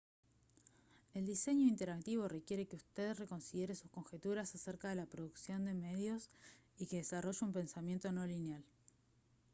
el diseño interactivo requiere que usted reconsidere sus conjeturas acerca de la producción de medios y que desarrolle un pensamiento no lineal